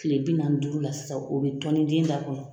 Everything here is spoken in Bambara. Kile bi nanni ni duuru la sisan o bi tɔnni den da kɔnɔ